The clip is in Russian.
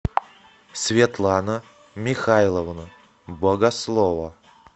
светлана михайловна богослова